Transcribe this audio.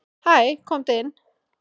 """Hæ, komdu inn."""